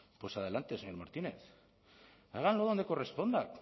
pues adelante señor martínez háganlo donde corresponda